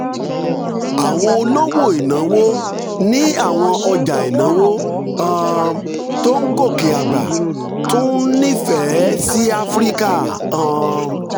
àwọn olówó ìnáwó ní àwọn ọjà ìnáwó um tó ń gòkè àgbà tún ń nífẹ̀ẹ́ sí áfíríkà um